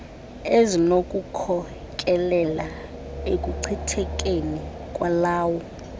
ezinokukhokelela ekuchithekeni kwalawo